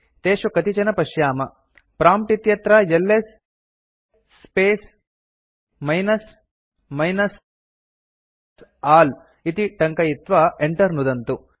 तेषु कतिचन पश्याम प्रॉम्प्ट् इत्यत्र LS space minus minus all इति टङ्कयित्वा enter नुदन्तु